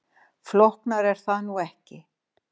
Flóknara er það nú ekki.